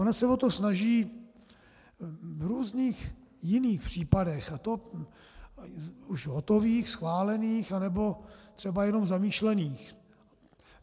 Ona se o to snaží v různých jiných případech, a to už hotových, schválených, anebo třeba jenom zamýšlených.